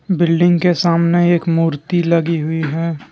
Building के सामने एक मूर्ति लगी हुई है।